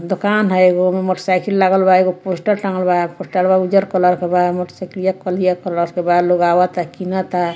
दोकान हय एगो में मोटर साइकिल लागल बा एगो पोस्टर टांगल बा पोस्टरवा उजर कलर के बा मोटर साइकिलिया करिया कलर के बा लोग आवता किनता।